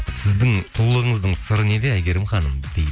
сіздің сұлулығыңыздың сыры неде әйгерім ханым дейді